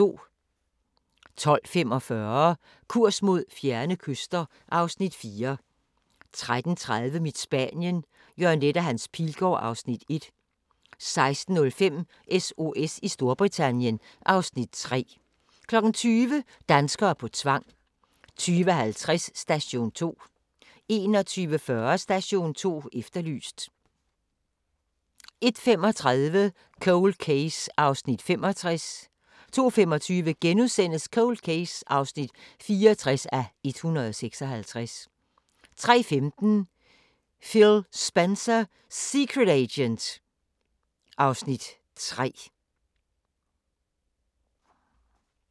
12:45: Kurs mod fjerne kyster (Afs. 4) 13:30: Mit Spanien – Jørgen Leth & Hans Pilgaard (Afs. 1) 16:05: SOS i Storbritannien (Afs. 3) 20:00: Danskere på tvang 20:50: Station 2 21:40: Station 2 Efterlyst 01:35: Cold Case (65:156) 02:25: Cold Case (64:156)* 03:15: Phil Spencer Secret Agent (Afs. 3)